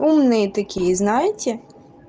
умные такие знаете